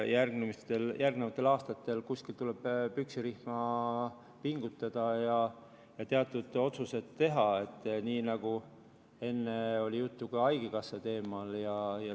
Järgnevatel aastatel tuleb kuskilt püksirihma pingutada ja teatud otsuseid teha, nii nagu enne oli juttu ka haigekassa teemal.